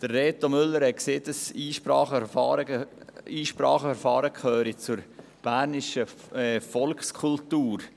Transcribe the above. Reto Müller sagte, das Einspracheverfahren gehöre zur bernischen Volkskultur.